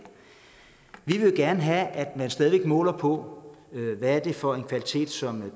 gerne have at man stadig væk måler på hvad det er for en kvalitet som